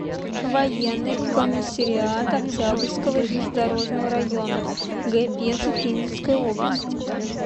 военный комиссариат октябрьского и железнодорожного районов г пензы пензенской области